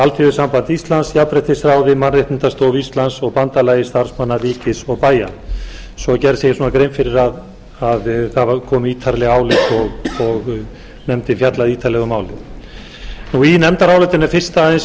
alþýðusambandi íslands jafnréttisráði mannréttindastofu íslands og bandalagi starfsmanna ríkis og bæja svo er gerð smágrein fyrir að það kom ítarlegt álit og nefndin fjallaði ítarlega um málið í nefndarálitinu er fyrst aðeins